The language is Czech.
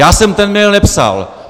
Já jsem ten mail nepsal.